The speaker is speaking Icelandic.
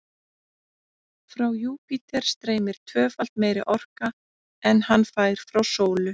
Frá Júpíter streymir tvöfalt meiri orka en hann fær frá sólu.